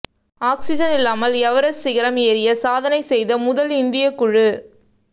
oxygen இல்லாமல் Everest சிகரம் ஏறி சாதனை செய்த முதல் இந்திய குழு